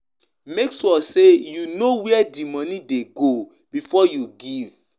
If you de ask di question and you notice say im no de confortable with am stop am